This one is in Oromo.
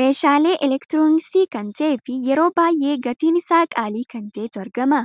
Meeshaalee elektiroonksii kan ta'ee fi yeroo baay'ee gatiin isa qaalii kan ta'etu argama.